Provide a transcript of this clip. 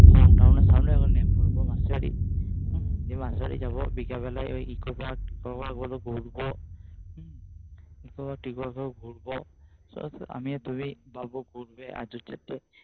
এর সামনে নেমে পরব মাসির বাড়ি। দিয়ে মাসির বাড়ি যাবো। বিকেল বেলায় ওই এগুলো ঘুরবো। হু ঘুরবো ঠিক আছে আমিও তুমি গল্প করবে আর দু চারটে